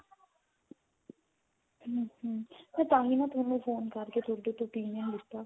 ਹਾਂਜੀ ਮੈਂ ਤਾਹੀ ਨਾ ਤੁਹਾਨੂੰ phone ਕਰਕੇ ਤੁਹਾਡੇ ਤੋਂ opinion ਲਿੱਤਾ